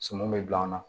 Sɔmi bɛ bila o la